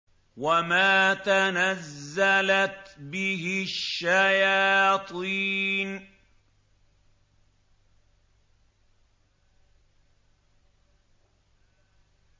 وَمَا تَنَزَّلَتْ بِهِ الشَّيَاطِينُ